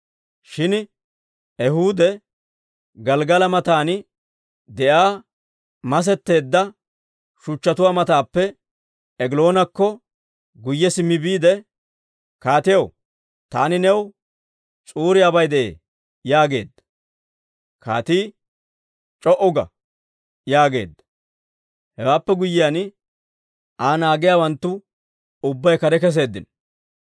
Shin Ehuudi Gelggala matan de'iyaa masetteedda shuchchatuwaa matappe Egiloonakko guyye simmi biide, «Kaatiyaw, taani new s'uuriyaabay de'ee» yaageedda. Kaatii, «C'o"u ga!» yaageedda; hewaappe guyyiyaan Aa naagiyaawanttu ubbay kare keseeddino.